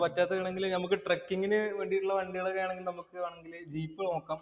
പറ്റാത്തത് ആണെങ്കില്‍ നമുക്ക് ട്രക്കിംഗിന് വേണ്ടീട്ടുള്ള വണ്ടികള്‍ ആണെങ്കില്‍ നമുക്ക് വേണമെങ്കില് നമുക്ക് ജീപ്പ് നോക്കാം.